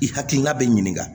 I hakilina bɛ ɲininka